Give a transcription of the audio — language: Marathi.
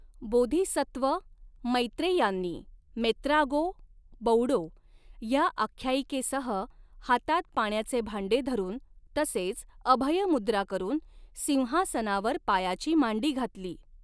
बोधिसत्व मैत्रेयांनी 'मेत्रागो बौडो' ह्या आख्यायिकेसह, हातात पाण्याचे भांडे धरून, तसेच अभय मुद्रा करून, सिंहासनावर पायाची मांडी घातली.